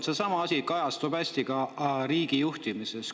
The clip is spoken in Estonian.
Seesama asi kajastub hästi ka riigijuhtimises.